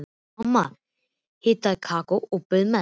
Mamma hitaði kakó og bauð meðlæti.